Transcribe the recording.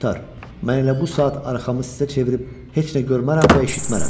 Mən elə bu saat arxamı sizə çevirib heç nə görmərəm və eşitmərəm.